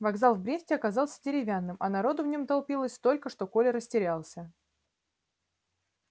вокзал в бресте оказался деревянным а народу в нём толпилось столько что коля растерялся